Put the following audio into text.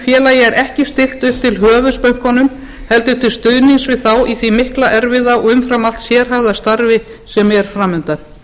félagi er ekki stillt upp til höfuðs bönkunum heldur til stuðnings við þá í því mikla erfiða og umfram allt sérhæfða starfi sem er fram undan